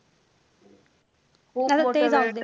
खूप मोठं वेड.